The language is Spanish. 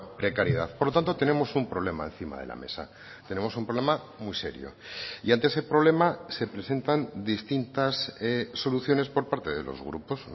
precariedad por lo tanto tenemos un problema encima de la mesa tenemos un problema muy serio y ante ese problema se presentan distintas soluciones por parte de los grupos